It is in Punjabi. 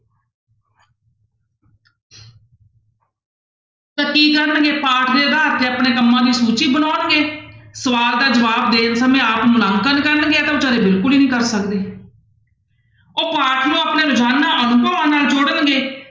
ਤਾਂ ਕੀ ਕਰਨਗੇ ਪਾਠ ਦੇ ਆਧਾਰ ਤੇ ਆਪਣੇ ਕੰਮਾਂ ਦੀ ਸੂਚੀ ਬਣਾਉਣਗੇ, ਸਵਾਲ ਦਾ ਜਵਾਬ ਦੇਣ ਸਮੇਂ ਆਪ ਨੂੰ ਨਾ ਪਸੰਦ ਕਰਨਗੇ ਇਹ ਤਾਂ ਬੇਚਾਰੇ ਬਿਲਕੁਲ ਹੀ ਨੀ ਕਰ ਸਕਦੇ ਉਹ ਪਾਠ ਨੂੰ ਆਪਣੇ ਰੋਜ਼ਾਨਾ ਅਨੁਭਵਾਂ ਨਾਲ ਜੋੜਨਗੇ।